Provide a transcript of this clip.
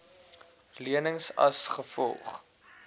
lenings as gevolg